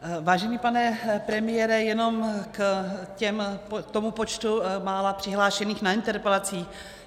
Vážený pane premiére, jenom k tomu počtu mála přihlášených na interpelacích.